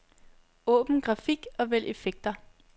Åbn grafik og vælg effekter.